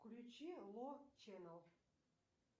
включи ло ченел